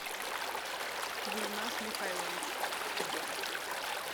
гульназ михайлович